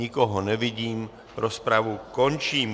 Nikoho nevidím, rozpravu končím.